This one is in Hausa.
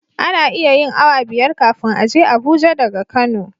Ana iya yin awa biyar kafin a je abuja daga kano